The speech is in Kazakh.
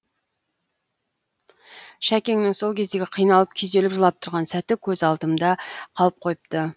шәкеннің сол кездегі қиналып күйзеліп жылап тұрған сәті көз алдымда қалып қойыпты